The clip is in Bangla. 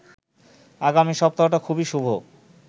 আগামী সপ্তাহটা খুবই শুভ